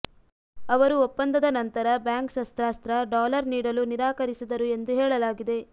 ಅವರು ಒಪ್ಪಂದದ ನಂತರ ಬ್ಯಾಂಕ್ ಶಸ್ತ್ರಾಸ್ತ್ರ ಡಾಲರ್ ನೀಡಲು ನಿರಾಕರಿಸಿದರು ಎಂದು ಹೇಳಲಾಗಿದೆ